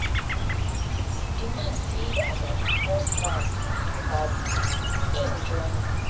di man see as i dey pour sand pour sand for bad road im join me.